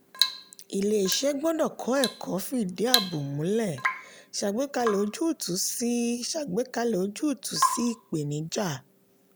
ilé-iṣẹ́ gbọ́dọ̀ kọ́ ẹ̀kọ́ fìdí ààbò múlẹ̀ ṣàgbékalẹ̀ ojútùú sí ṣàgbékalẹ̀ ojútùú sí ìpèníjà.